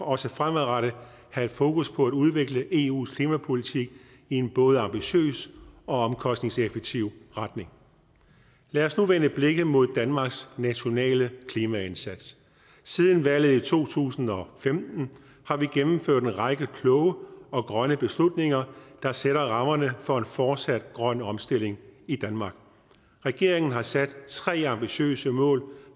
også fremadrettet have fokus på at udvikle eus klimapolitik i en både ambitiøs og omkostningseffektiv retning lad os nu vende blikket mod danmarks nationale klimaindsats siden valget i to tusind og femten har vi gennemført en række kloge og grønne beslutninger der sætter rammerne for en fortsat grøn omstilling i danmark regeringen har sat tre ambitiøse mål